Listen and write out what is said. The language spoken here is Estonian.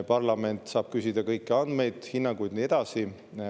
Parlament saab küsida kõiki andmeid, hinnanguid ja nii edasi.